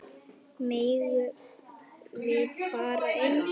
Megum við fara inn?